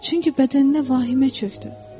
Çünki bədəninə vahimə çökdü.